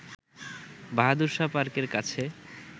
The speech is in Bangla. বাহাদুর শাহ পার্কের কাছে